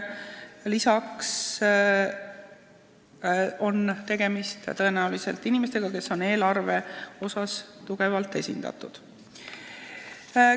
Lisaks on selles komisjonis tõenäoliselt tegemist inimestega, kes on eelarve koha pealt tugevad tegijad.